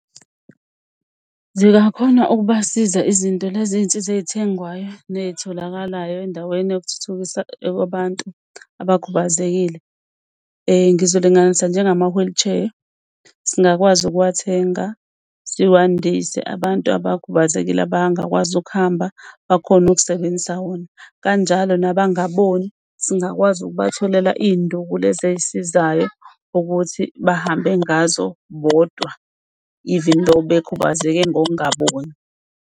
Zingakhona ukubasiza izinto lezi iy'nsiza ey'thengwayo ney'tholakalayo endaweni yokuthuthukisa kwabantu abakhubazekile. Ngizolinganisa njengama-wheelchair singakwazi ukuwathenga siwandise abantu abakhubazekile abangakwazi ukuhamba, bakhone ukusebenzisa wona. Kanjalo nabangaboni singakwazi ukubatholela iy'nduku lezi ey'sizayo ukuthi bahambe ngazo bodwa, even though ekhubazeke ngokungaboni.